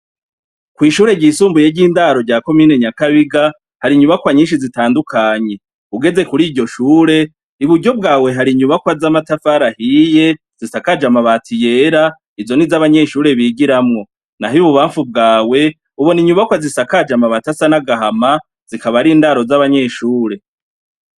Kw'ishuri ryisumbuye ry'indaro rya komine Nyakabiga , hari inyubakwa nyinshi zitandukanye. ugeze kuriryo shure, iburyo bwawe hari inyubakwa z'amatafari ahiye zisakaje amabati yera, izo nizo anbanyeshure bigiramwo. Naho ibubanfu bwawe, ubona inyubakwa zisakajwe amabati asa n'agahama zikaba arindaro z'abanyeshure.